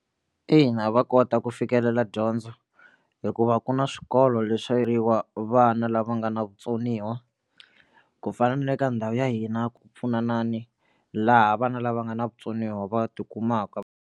Ina va kota ku fikelela dyondzo hikuva ku na swikolo leswi vana lava nga na vutsoniwa ku fana na le ka ndhawu ya hina ku pfunanani laha vana lava nga na vutsoniwa va tikumaka.